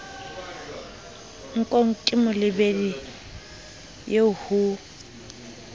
nkong ke molebedi eo ho